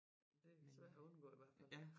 Det lidt svær at undgå i hvert fald